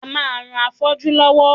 A máa ran afọ́jú lọ́wọ́